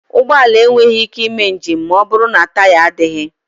Ụgbọ ala enweghị ike ịme njem ma ọbụrụ na taya adịghị.